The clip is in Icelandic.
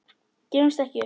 Gefumst ekki upp.